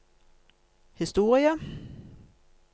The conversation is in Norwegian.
historie